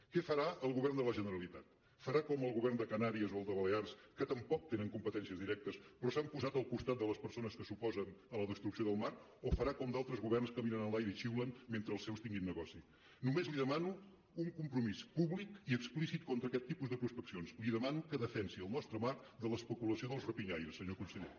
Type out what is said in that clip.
què farà el govern de la generalitat farà com el govern de canàries o el de balears que tampoc tenen competències directes però s’han posat al costat de les persones que s’oposen a la destrucció del mar o farà com d’altres governs que miren enlaire i xiulen mentre els seus tinguin negoci només li demano un compromís públic i explícit contra aquest tipus de prospeccions li demano que defensi el nostre mar de l’especulació dels rapinyaires senyor conseller